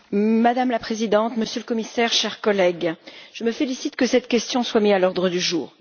Madame la Présidente, Monsieur le Commissaire, chers collègues, je me félicite que cette question soit mise à l'ordre du jour.